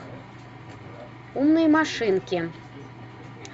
умные машинки